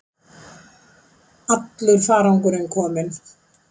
Allur farangurinn kominn